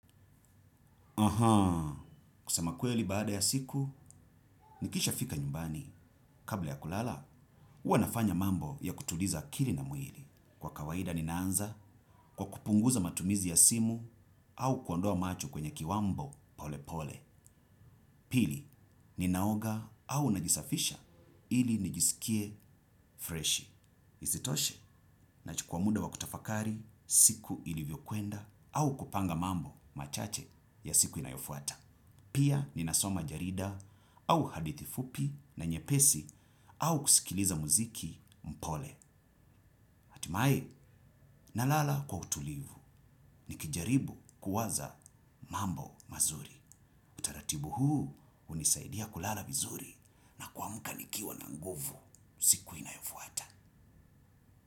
Ahaa. Kusema kweli baada ya siku, nikisha fika nyumbani. Kabla ya kulala, huwanafanya mambo ya kutuliza akiri na mwiili. Kwa kawaida ninaanza kwa kupunguza matumizi ya simu au kuondoa machu kwenye kiwambo pole pole. Pili, ninaoga au najisafisha ili najisikie freshi. Isitoshe nachukua muda wa kutafakari siku ilivyokwenda au kupanga mambo machache ya siku inayofuata. Pia ninasoma jarida au hadithifupi na nyepesi au kusikiliza muziki mpole. Atimae nalala kwa utulivu ni kijaribu kuwaza mambo mazuri. Ratibu huu unisaidia kulala vizuri na kuamka nikiwa na nguvu siku inayofuata.